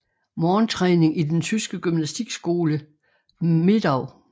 Morgentræning i den tyske gymnastikskole Medau